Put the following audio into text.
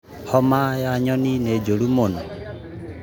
Homa ya nyoni nĩ njũru mũno